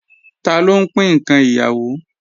Taló ń pín ǹkan ìyàwó